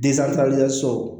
so